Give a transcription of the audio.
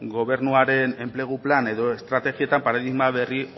gobernuaren enplegu plan edo estrategietan paradigma berri